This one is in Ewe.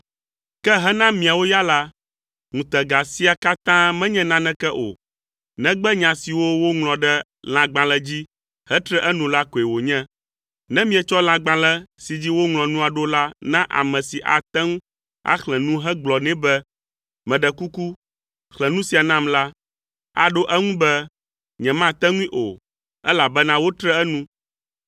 Ke hena miawo ya la, ŋutega sia katã menye naneke o; negbe nya siwo woŋlɔ ɖe lãgbalẽ dzi hetre enu la koe wònye. Ne mietsɔ lãgbalẽ si dzi woŋlɔ nua ɖo la na ame si ate ŋu axlẽ nu hegblɔ nɛ be, “Meɖe kuku, xlẽ nu sia nam la,” aɖo eŋu be, “Nyemate ŋui o, elabena wotre enu.”